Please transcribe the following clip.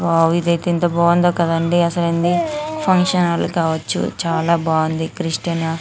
ఇది ఎంత బాగుందో కదా అంది ఇది ఫంక్షన్ హాల్ కావచ్చు.చాల బాగుండి .